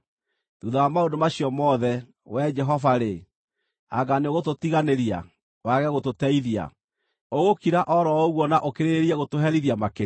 Thuutha wa maũndũ macio mothe, Wee Jehova-rĩ, anga nĩũgũtũtiganĩria, wage gũtũteithia? Ũgũkira o ro ũguo na ũkĩrĩrĩrie gũtũherithia makĩria?